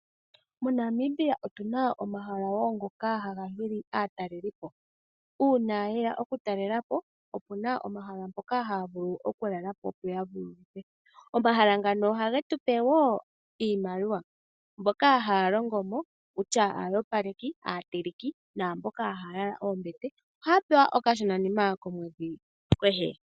MoNamibia otuna omahala wo ngoka haga hili aatalelipo. Uuna ye ya okutalela po opuna omahala mpoka haya vulu okulala po opo ya vululukwe. Omahala ngano ohage tu pe wo iimaliwa, mboka haya longo mo kutya aayopaleki, aateleki naamboka haya yala oombete ohaya pewa okashonanima komwedhi kehe.